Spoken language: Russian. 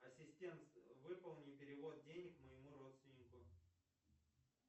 ассистент выполни перевод денег моему родственнику